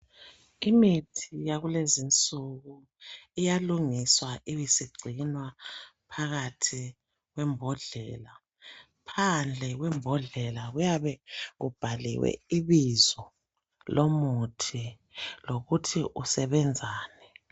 Imithi yakulezinsuku iyalungiswa ibisigcinwa phakathi kwembodlela. Phandle kwembodlela kuyabe kubhaliwe ibizo lomuthi lokuthi usebenzani.